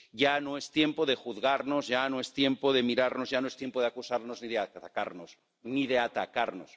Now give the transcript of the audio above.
Ya no es tiempo de juzgarnos, ya no es tiempo de mirarnos, ya no es tiempo de acusarnos ni de atacarnos.